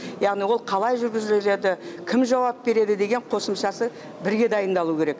яғни ол қалай жүргізіріледі кім жауап береді деген қосымшасы бірге дайындалу керек